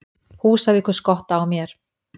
Húsavíkur-Skotta á mér.